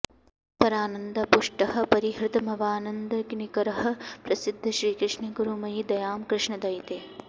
परानन्दाऽऽपुष्टः परिहृतमवानन्दनिकरः प्रसीद श्रीकृष्णे कुरु मयि दयां कृष्णदयिते